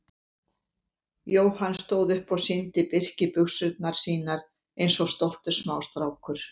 Jóhann stóð upp og sýndi Birki buxurnar sínar eins og stoltur smástrákur.